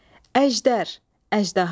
Əjdər, əjdaha.